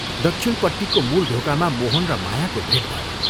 दक्षिणपट्टिको मूल ढोकामा मोहन र मायाको भेट भयो।